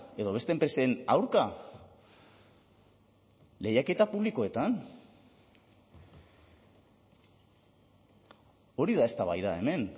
edo beste enpresen aurka lehiaketa publikoetan hori da eztabaida hemen